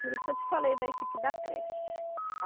Por isso que eu te falei da equipe da creche.